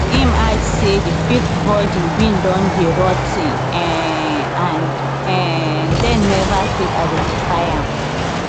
im add say di fifth body bin don dey rot ten um and um dem neva fit identify am